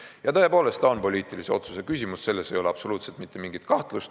Ja tõepoolest see on poliitilise otsuse küsimus, selles ei ole absoluutselt mitte mingit kahtlust.